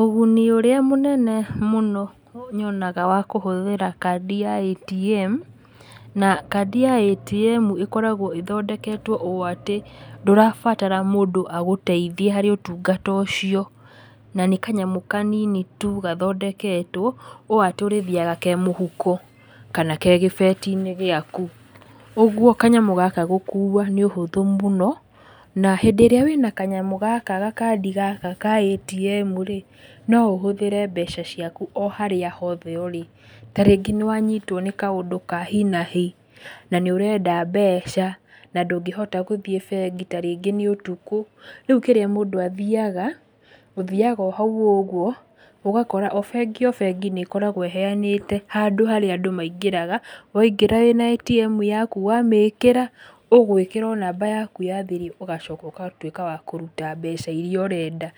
Ũguni ũrĩa mũnene mũno nyonaga wa kũhũthĩra kandi ya ATM, na kandi ya ATM ĩkoragwo ĩthondeketwo ũũ atĩ ndũrabatara mũndũ agũteithie harĩ ũtungata ũcio, na nĩ kanyamũ kanini tu gathondeketwo, ũũ atĩ ũrĩthiaga kemũhuko, kana gegĩbeti-inĩ gĩaku, ũguo kanyamũ gaka gũkua nĩ ũhũthũ mũno, na hĩndĩ ĩrĩa wĩna kanyamũ gaka gakandi gaka ka ATM rĩ, no ũhũthĩre mbeca ciaku o harĩ hothe ũrĩ. Ta rĩngĩ nĩ wanyitwo nĩ kaũndũ ka hi na hi, na nĩ ũrenda mbeca na ndũngĩhota gũthiĩ bengi tarĩngĩ nĩ ũtukũ, rĩu kĩrĩa mũndũ athiaga, ũthiaga o hau ũguo, ũgakora o bengi, o bengi, nĩkoragwo ĩheyanĩte handũ harĩa andũ maingĩraga, waingĩra wĩna ATM yaku wamĩkĩra ũgũĩkĩra o namba yaku ya thiri ũgacoka wagũtuĩka wa kũruta mbeca iria ũrenda.